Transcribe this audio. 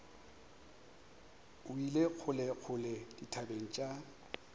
o ile kgolekgole dithabeng tša